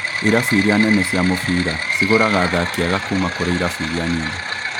Irabu iria nene cia mũbira cigũraga athaki ega kũũma kũrĩ irabu iria nini